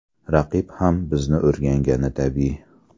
Raqib ham bizni o‘rgangani tabiiy.